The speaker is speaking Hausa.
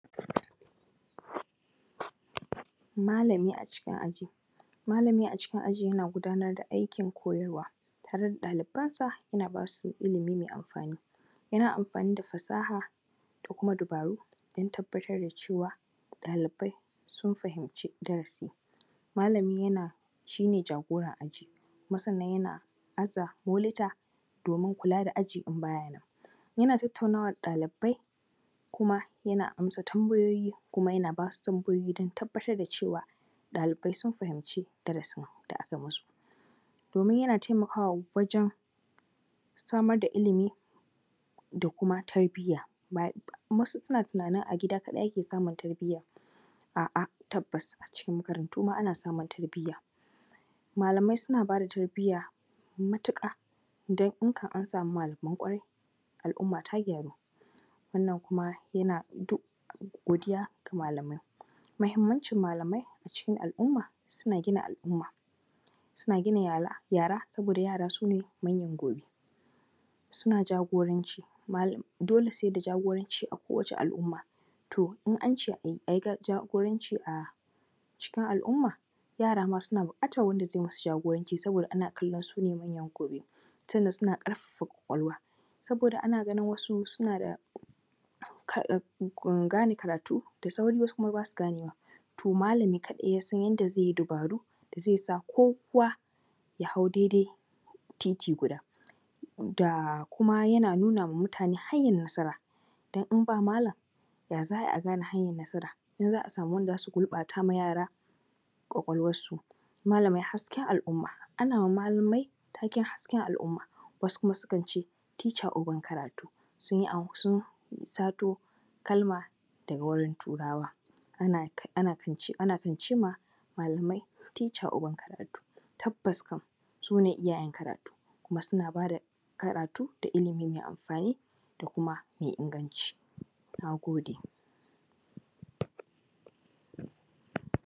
Malami a cikin aji, Malami a cikin aji yana gudanar da aikin koyarwa, tare da ɗalibansa yana bas u ilimi mai amfani. Yana amfani da fasaha da kuma dabaru don tabbatar da cewa ɗalibai sun fahimci darasi. Malami yana shi ne jagora a cikin aji, kuma yana aza moluta domin kula da aji in bayanan. Yana tattauna da ɗalibai kuma yana amsa bambayoyi kuma yana bas u tambayoyi don tabbatar da cewa ɗalibai sun fahimci darasin da aka masu. Domin yana taimakawa wajen samar da ilimi da kuma tarbiya, wasu suna tunani a gida kaɗai ake samun tarbiya, a’a tabbas a cikin makarantu ma ana samun tarbiya. Malamai suna bayar da tarbiya matuƙa. Dan in kan an samu malamai ƙwarai al’umma ta gyaru. Wannan kuma yana duk godiya ga malamai, muhimmancin malamai a cikin al’umma suna gina alumma, suna gina yara saboda yara sune manyan gobe. Suna jagoranci yara dole sai da jagoranci a kowace al’umma. To in an ce ai jagoranci a cikin alumma, yara ma suna buƙatan wanda zai masu jagoranci saboda ana kallon su ne manyan gobe, tunda suna ƙarfafa ƙwaƙwalwa, saboda ana ganin wasu suna da gane karatu da sauri wasu kuma bas u ganewa,. To malami kaɗai ya san yadda zai yi dabaru da zai sa kowa yah au daidai titi guda. Da kuma yana nuna ma mutane hanyar nasara, dan in ba malam ya za a gane hanyar nasara, in za a samu wanda za su gurɓata ma yara ƙwaƙwalwarsu. Malamai hasken al’umma, ana ma malamai taken hasken al’umma, wasu kuma sukan ce teacher uban karatu. Sun sun sato kalma daga wurin turawa, ana ana kan ce ma teacher uban karatu. Tabbas kan su ne uban karatu, kuma sun aba da ilimi da karatu mai amfani, da kuma mai inganci, nag ode.